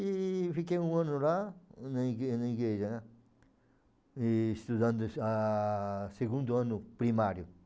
E fiquei um ano lá na igre na igreja, né, e estudando ah segundo ano primário.